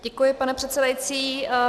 Děkuji, pane předsedající.